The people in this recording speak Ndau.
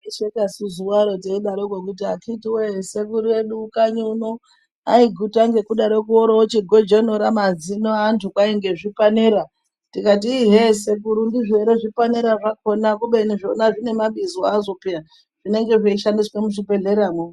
Taiseka su zuwaro teidaroko teiti akiti woye sekuru edu kanyi uno aiguta ngekudaroko oroochigojonora mazino eantu kwai ngezvipanera tikati ii he sekuru ndizvo ere zvipenera zvakona kubeni zvona zvine mabizo azvo peya zvinenge zveishandiswe muzvibhehlera mwo